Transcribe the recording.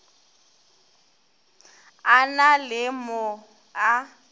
a na le mo a